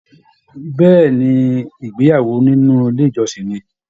Bẹ̀ẹ́ni, ìgbéyàwó nínú ilé ìjọsìn ní.